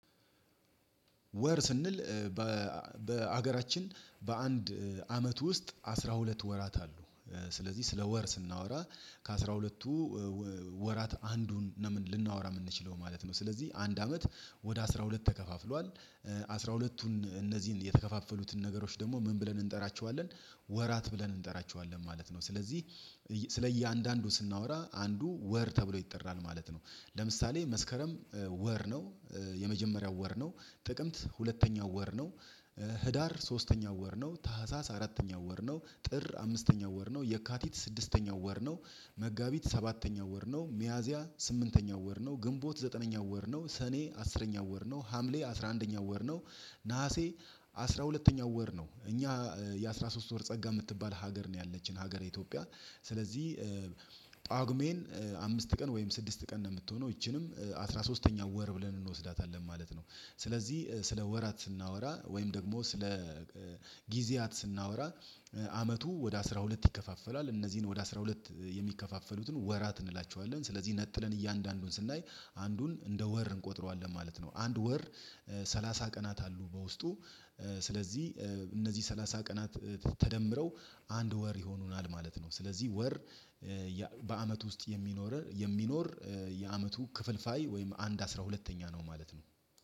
ወር ስንል በአገራችን በአንድ አመት ውስጥ አስራ ሁለት ወራት አሉ ስለዚህ ስለ ወር ስናወራ ከአስራ ሁለቱ ወራት አንዱን ልናወራ የምንችለው ማለት ነው። ስለዚህ አንድ አመት ወደ አስራ ሁለት ተከፋፍሏል አስራ ሁለቱን እነዚህን የተከፋፈሉትን ነገሮች ደግሞ ምን ብለን እንጠራቸዋለን ወራት ብለን እንጠራቸዋለን ማለት ነው። ስለዚህ ስለ እያንዳንዱ ስናወራ አንዱ ወር ተብሎ ይጠራል ማለት ነው። ለምሳሌ መስከረም ወር ነው የመጀመሪያው ወር ነው ጥቅምት ሁለተኛው ወር ነው። ህዳር ሶስተኛው ወር ነው ታህሳስ አራተኛው ወር ነው ጥር አምስተኛ ወር ነው የካቲት ስድስተኛው ወር ነው። መጋቢት ሰባተኛው ወር ነው ሚያዝያ ስምንተኛው ወር ነው ግንቦት ዘጠነኛው ወር ነው ሰኔ አስረኛው ወር ነው ሀምሌ አስራ አንደኛ ወር ነው። ነሀሴ አስራ ሁለተኛው ወር ነው። እኛ የአስራ ሶስት ወር ጸጋ የምትባል ሀገር ነው ያለችን ሀገረ ኢትዮጵያ ስለዚህ ጳጉሜን አምስት ቀን ወይም ስድስት ቀን ነው። የምትሆነው ይቺንም አስራ ሶስተኛ ወር ብለን እንወስዳታለን ማለት ነው። ስለዚህ ስለ ወራት ስናወራ ወይም ደግሞ ስለ ጊዜያት ስናወራ አመቱ ወደ አስራ ሁለት ይከፋፈላል እነዚህን ወደ አስራ ሁለት የሚከፋፈሉትን ወራት እንላቸዋለን ስለዚህ ነጥለን እያንዳንዱን ስናይ አንዱን እንደ ወር እንቆጥረዋለን ማለት ነው። አንድ ወር ሰላሳ ቀናት አሉ በውስጡ ስለዚህ እነዚህ ሰላሳ ቀናት ተደምረው አንድ ወር ይሆኑናል ማለት ነው። ስለዚህ ወር በአመት ውስጥ የሚኖር የሚኖር የአመቱ ክፍልፋይ ወይም አንድ አስራ ሁለተኛ ነው ማለት ነው።